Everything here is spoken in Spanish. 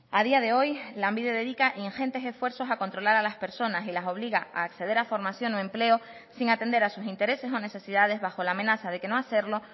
a día de hoy lanbide dedica ingentes esfuerzos a controlar a las personas y las obliga a acceder a formación o empleo sin atender a sus intereses o necesidades bajo la amenaza de que no hacerlo